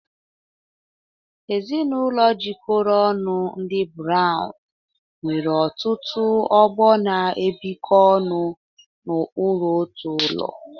Ezinụlọ jikọrọ ọnụ, ndị Browns, nwere ọtụtụ ọgbọ na-ebikọ ọnụ n'okpuru otu ụlọ.